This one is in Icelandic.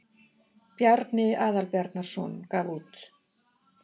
Bjarni Aðalbjarnarson gaf út.